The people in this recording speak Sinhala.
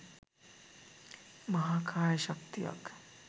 මහා කාය ශක්තියක්